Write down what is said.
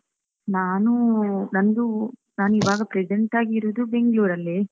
ನಾನೂ, ನಂದೂ, ನಾನ್ ಈವಾಗ present ಆಗ್ ಇರುದು Bangalore ಅಲ್ಲಿ.